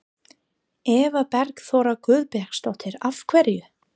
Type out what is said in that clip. Eva Bergþóra Guðbergsdóttir: Af hverju?